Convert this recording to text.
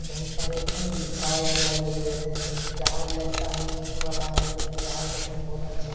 बहुत सारे इसमे मम तार-वार लगे हुए हैं ज-जहाज लगता हैं उड़ने वाला है जो की जहाज दिखने में बहुत अच्छा --